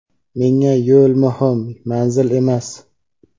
Menga yo‘l muhim, manzil emas.